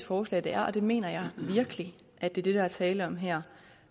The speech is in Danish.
forslag det er og det mener jeg virkelig er det der er tale om her